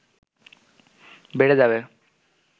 বেড়ে যাবে